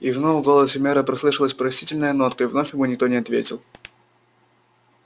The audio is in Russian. и вновь в голосе мэра послышалась просительная нотка и вновь ему никто не ответил